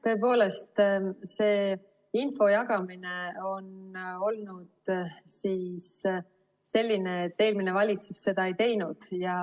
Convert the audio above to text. Tõepoolest, see info jagamine on olnud selline, et eelmine valitsus seda ei teinud.